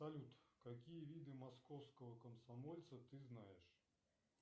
салют какие виды московского комсомольца ты знаешь